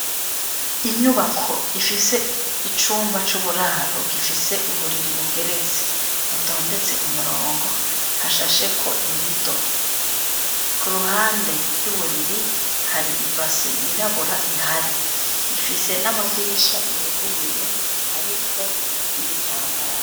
Inyubako ifise icumba c'uburaro gifise uburiri bugeretse, butondetse umurongo hashasheko imido. Kuruhande y'uburiri hari ibase yirabura ihari, ifise n'amadirisha yuguruye hariko n'ibitambaro.